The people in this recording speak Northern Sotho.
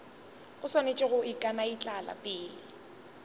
o swanetše go ikanaitlama pele